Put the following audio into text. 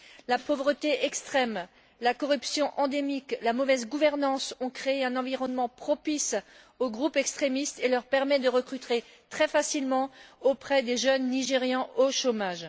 La pauvreté extrême, la corruption endémique, la mauvaise gouvernance ont créé un environnement propice aux groupes extrémistes et leur permet de recruter très facilement auprès des jeunes Nigérians au chômage.